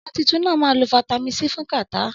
Ọmọ títún nà má lo fàtámi-si fún kàtá